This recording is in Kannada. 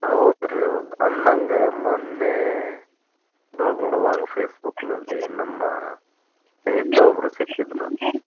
ಹೌದ್ರಿ ಹೌದ್ ಅಂದಂಗ ಮೊನ್ನೆ ನೋಡುವಾಗ್ Facebook ನಲ್ಲಿ ನಮ್ಮ ಸ್ನೇಹಿತ ಒಬ್ರು ಸಿಕ್ಕಿದ್ರು.